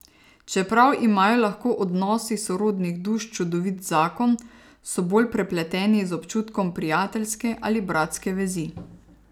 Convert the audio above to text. Čeprav imajo lahko odnosi sorodnih duš čudovit zakon, so bolj prepleteni z občutkom prijateljske ali bratske vezi.